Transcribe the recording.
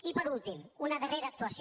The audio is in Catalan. i per últim una darrera actuació